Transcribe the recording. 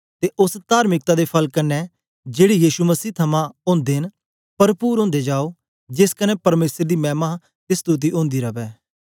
ते ओस तार्मिकता दे फल कन्ने जेड़े यीशु मसीह थमां ओदे न परपुर ओदे जाओ जेस कन्ने परमेसर दी मैमा ते स्तुति ओंदी रवै